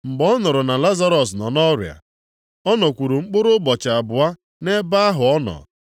Mgbe ọ nụrụ na Lazarọs nọ nʼọrịa, ọ nọkwuru mkpụrụ ụbọchị abụọ nʼebe ahụ ọ nọ.